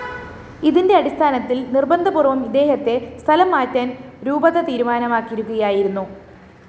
ഇതിന്റെ അടിസ്ഥാനത്തില്‍ നിര്‍ബന്ധപൂര്‍വ്വം ഇദ്ദേഹത്തെ സ്ഥലംമാറ്റാന്‍ രൂപത തീരുമാനിക്കുകയായിരുന്നു